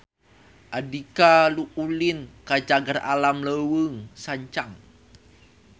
Andika ulin ka Cagar Alam Leuweung Sancang